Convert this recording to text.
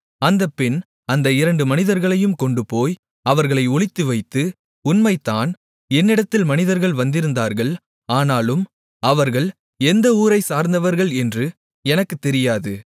அந்தப் பெண் அந்த இரண்டு மனிதர்களையும் கொண்டுபோய் அவர்களை ஒளித்துவைத்து உண்மைதான் என்னிடத்தில் மனிதர்கள் வந்திருந்தார்கள் ஆனாலும் அவர்கள் எந்த ஊரைச்சார்ந்தவர்கள் என்று எனக்குத் தெரியாது